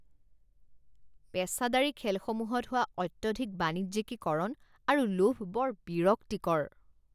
পেচাদাৰী খেলসমূহত হোৱা অত্যধিক বাণিজ্যিকীকৰণ আৰু লোভ বৰ বিৰক্তিকৰ